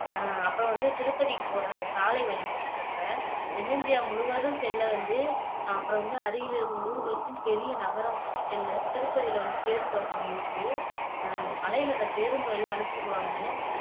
அஹ் அப்போ வந்து திருப்பதிக்கு போற அந்த சாலை வழி பத்தி சொல்றேன் தென்னிந்தியா முழுவதும் செல்ல வந்து அப்புறம் வந்து அருகில் இருக்கும் ஊர்களுக்கும் பெரிய நகரங்களுக்கும் செல்ல திருப்பதில வந்துட்டு பேருந்து வசதி இருக்கு ஆனா அந்த மலைல பேருந்து வழியா அழைச்சுட்டு போகாம